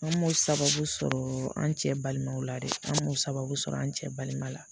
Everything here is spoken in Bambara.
An m'o sababu sɔrɔ an cɛ balimaw la dɛ an m'o sababu sɔrɔ an cɛ balima la